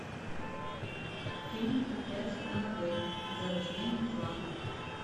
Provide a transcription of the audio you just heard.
фильм проклятие аннабель зарождение зла